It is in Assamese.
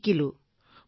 মই শিকিছোঁ